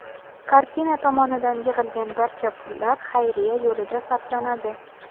Kartina tomonidan yig‘ilgan barcha pullar xayriya yo‘lida sarflanadi.